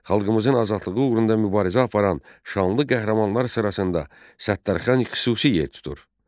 Xalqımızın azadlığı uğrunda mübarizə aparan şanlı qəhrəmanlar sırasında Səttarxan xüsusi yer tutur.